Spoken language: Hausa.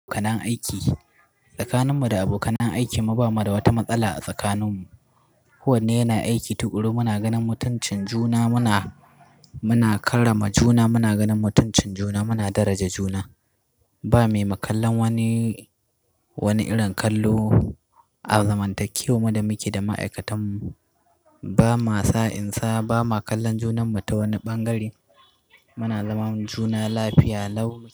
Abokan aiki tsakaninmu da abokan aiki ba mu da wata matsala a tsakaninmu. Ko wanne yana aiki tuƙuru muna ganin mutuncin juna, muna, muna karrama juna, muna ganin mutuncin juna, muna daraja juna. Ba mai ma kallan wani, wani irin kallo, a zamantakewarmu da muke da ma'aikatan mu. Ba ma sa'insa, ba ma kallon junan mu ta wani bangare. Muna zaman juna lafiya, lafiya lau.